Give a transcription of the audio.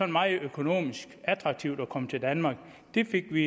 meget økonomisk attraktivt at komme til danmark det fik vi